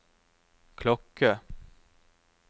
klokke